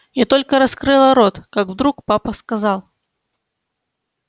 я только раскрыла рот как вдруг папа сказал